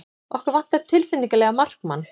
Okkur vantar tilfinnanlega markmann.